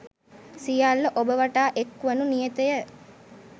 සියල්ල ඔබවටා එක්වනු නියතය